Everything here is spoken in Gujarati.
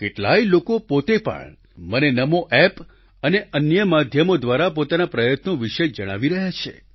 કેટલાય લોકો પોતે પણ મને નમો એપ અને અન્ય માધ્યમો દ્વારા પોતાના પ્રયત્નો વિશે જણાવી રહ્યા છે